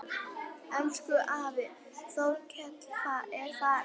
Elsku afi Þorkell er farinn.